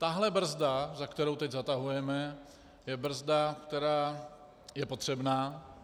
Tahle brzda, za kterou teď zatahujeme, je brzda, která je potřebná.